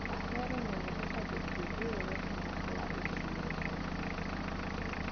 Ahero neno kaka jopur riwre kanyakla e chiro.